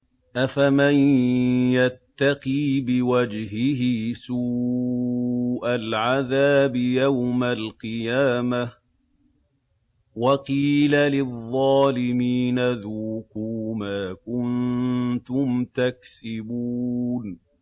أَفَمَن يَتَّقِي بِوَجْهِهِ سُوءَ الْعَذَابِ يَوْمَ الْقِيَامَةِ ۚ وَقِيلَ لِلظَّالِمِينَ ذُوقُوا مَا كُنتُمْ تَكْسِبُونَ